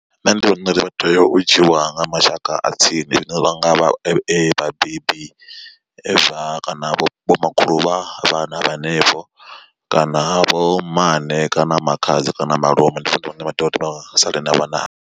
Nṋe ndi vhona uri vha tea u dzhiwa nga mashaka a tsini zwine vha nga vha vhabebi kana vho makhulu vha vha na vhenevho kana vho mmane kana makhadzi kana malume ndi vhone vhane vha tea uri vha savhe na vhana havho.